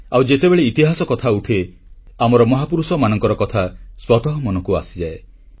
ଆଉ ଯେତେବେଳେ ଇତିହାସ କଥା ଉଠେ ଆମର ମହାପୁରୁଷମାନଙ୍କର କଥା ସ୍ୱତଃ ମନକୁ ଆସିଯାଏ